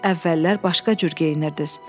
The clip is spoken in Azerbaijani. Siz əvvəllər başqa cür geyinirdiz.